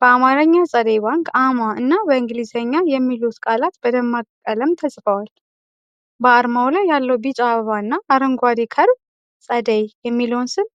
በአማርኛ "ጸደይ ባንክ አ/ማ" እና በእንግሊዝኛ "TSEDEY BANK S/C" የሚሉ ቃላት በደማቅ ቀለም ተጽፈዋል። በአርማው ላይ ያለው ቢጫ አበባና አረንጓዴው ከርቭ (curve) "ጸደይ" የሚለውን ስም